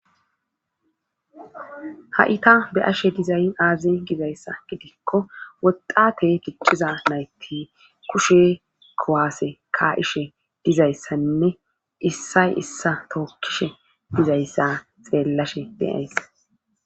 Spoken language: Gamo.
ha7ita be ashe dizayn aaze gizayssa gidikko woxate ticciza nayti kushe kowaase ka7ishe dizayssanne issay issa tookkishe dizayssa xeellashe beyays